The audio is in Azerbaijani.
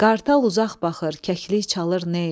Qartal uzaq baxır, kəkli çalır ney.